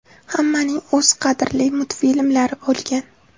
Hammaning o‘z qadrli multfilmlari bo‘lgan.